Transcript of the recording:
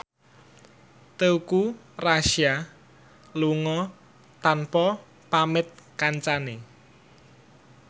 Teuku Rassya lunga tanpa pamit kancane